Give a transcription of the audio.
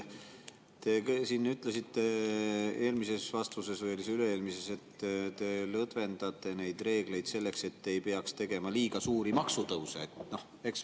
Te ütlesite eelmises vastuses või oli see üle-eelmises, et te lõdvendate neid reegleid selleks, et ei peaks tegema liiga suuri maksutõuse.